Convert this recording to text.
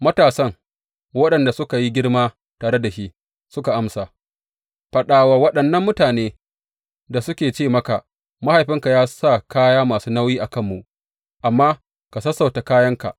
Matasan, waɗanda suka yi girma tare da shi, suka amsa, Faɗa wa waɗannan mutanen da suka ce maka, Mahaifinka ya sa kaya masu nauyi a kanmu, amma ka sassauta kayanka.’